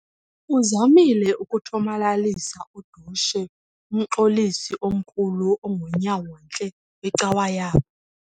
Uzamile ukuthomalalisa udushe umxolisi omkhulu ongunyawontle wecawa yabo.